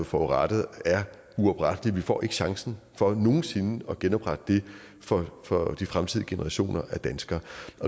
forrettet er uoprettelige vi får ikke chancen for nogen sinde at genoprette det for for de fremtidige generationer af danskere